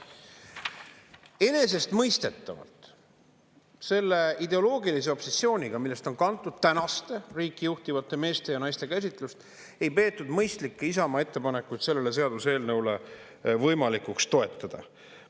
Enesestmõistetavalt selle ideoloogilise obsessiooniga, millest on kantud tänaste riiki juhtivate meeste ja naiste käsitlus, ei peetud mõistlikke Isamaa ettepanekuid sellele seaduseelnõule võimalikuks toetada.